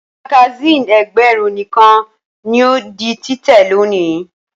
Magasínì ẹgbẹ̀rún nìkan ni yóò di títẹ̀ lónìí.